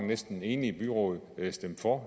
næsten enigt byråd der har stemt for